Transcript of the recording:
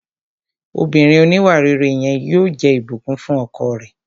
Obìnrin òníwàrere yẹn yóò jẹ́ Ìbùkún fún ọkọ rẹ̀